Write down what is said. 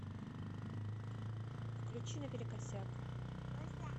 включи наперекосяк